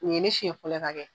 Nin ye ne siyɛn fɔlɔ ye ka